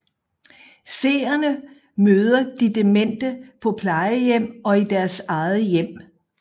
Seerne møder de demente på plejehjem og i deres eget hjem